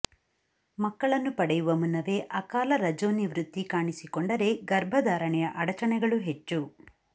ಮಕ್ಕಳನ್ನು ಪಡೆಯುವ ಮುನ್ನವೇ ಅಕಾಲ ರಜೋನಿವೃತ್ತಿ ಕಾಣಿಸಿಕೊಂಡರೆ ಗರ್ಭಧಾರಣೆಯ ಅಡಚಣೆಗಳು ಹೆಚ್ಚು